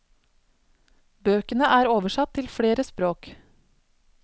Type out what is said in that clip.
Bøkene er oversatt til flere språk.